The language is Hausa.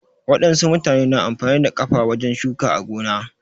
Wadansu mutane na amfani da kafa wajen shuka a gona